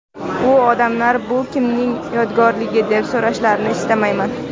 U ‘odamlar bu kimning yodgorligi deb so‘rashlarini istamayman.